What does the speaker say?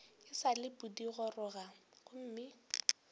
e sa le pudigoroga gomme